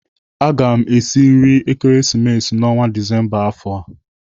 Aga m esi nri Ekeresimesi n'ọnwa Disemba afọ.